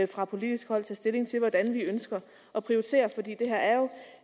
fra politisk hold tage stilling til hvordan vi ønsker at prioritere for det her er jo